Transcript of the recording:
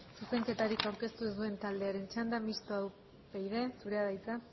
zuzenketarik aurkeztu ez duen taldearen txanda mistoa upyd zurea da hitza